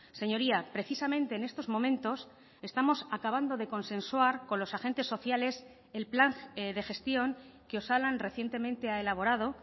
señoría precisamente en estos momentos estamos acabando de consensuar con los agentes sociales el plan de gestión que osalan recientemente ha elaborado